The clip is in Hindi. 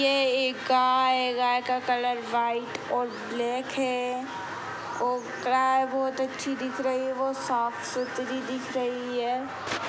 यह एक गाय है। गाय का कलर व्हाइट और ब्लैक है और गराए बहुत अच्छी दिख रही है बहुत साफ सुथरी दिख रही है।